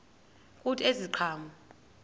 kuthi ezi ziqhamo